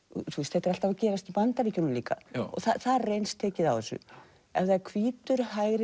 þetta er alltaf að gerast í Bandaríkjunum líka þar er eins tekið á þessu ef það er hvítur hægri